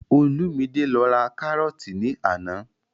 Olúmidé lọ ra kárọ́ọ̀tì ní àná